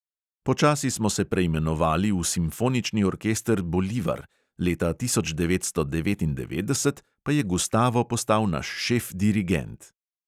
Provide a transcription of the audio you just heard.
Počasi smo se preimenovali v simfonični orkester bolivar, leta tisoč devetsto devetindevetdeset pa je gustavo postal naš šef dirigent.